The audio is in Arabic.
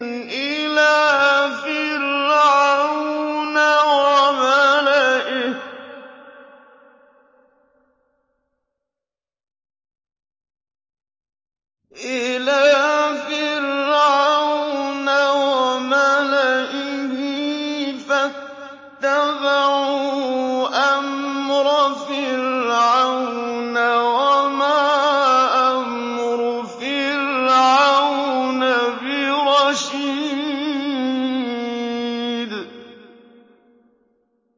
إِلَىٰ فِرْعَوْنَ وَمَلَئِهِ فَاتَّبَعُوا أَمْرَ فِرْعَوْنَ ۖ وَمَا أَمْرُ فِرْعَوْنَ بِرَشِيدٍ